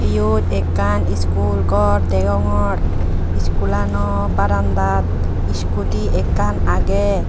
iyot ekkan school ghor dogongor school ano baranda dat scooty ekkan aage.